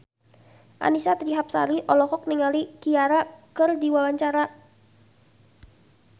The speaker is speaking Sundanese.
Annisa Trihapsari olohok ningali Ciara keur diwawancara